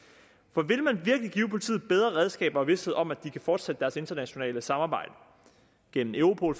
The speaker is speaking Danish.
for vil man virkelig give politiet bedre redskaber og vished om at de kan fortsætte deres internationale samarbejde gennem europol